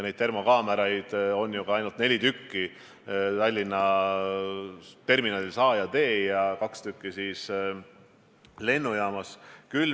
Neid termokaameraid on ju ka ainult neli tükki: Tallinna sadamaterminalides A ja D ja kaks tükki lennujaamas.